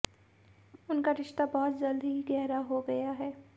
उनका रिश्ता बहुत जल्द ही गहरा हो गया है